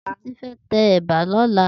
Titi fè tè èbà lòlá